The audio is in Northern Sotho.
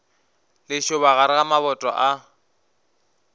lešoba gare ga maboto a